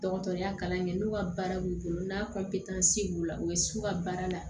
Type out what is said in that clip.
Dɔgɔtɔrɔya kalan kɛ n'u ka baara b'u bolo n'a b'u la u bɛ s'u ka baara la